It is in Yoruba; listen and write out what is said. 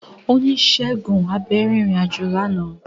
Onisegun abẹ rin irin-ajo làná.